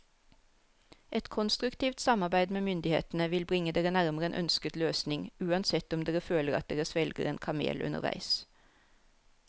Et konstruktivt samarbeid med myndighetene vil bringe dere nærmere en ønsket løsning, uansett om dere føler at dere svelger en kamel underveis.